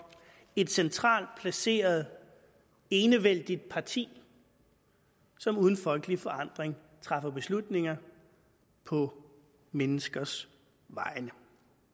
et centralt placeret enevældigt parti som uden folkelig forandring træffer beslutninger på menneskers vegne